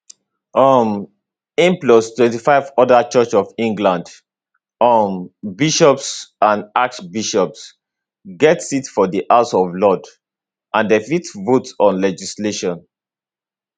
um im plus 25 oda church of england um bishops and archbishops get seats for di house of lords and dem fit vote on legislation